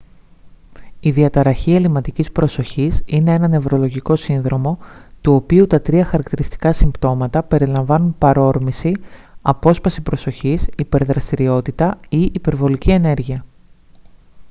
η διαταραχή ελλειματικής προσοχής «είναι ένα νευρολογικό σύνδρομο του οποίου τα τρία χαρακτηριστικά συμπτώματα περιλαμβάνουν παρόρμηση απόσπαση προσοχής υπερδραστηριότητα ή υπερβολική ενέργεια»